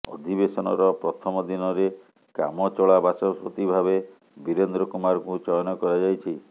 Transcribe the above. ଅଧିବେଶନର ପ୍ରଥମ ଦିନରେ କାମଚଳା ବାଚସ୍ପତି ଭାବେ ବୀରେନ୍ଦ୍ର କୁମାରଙ୍କୁ ଚୟନ କରାଯାଇଛି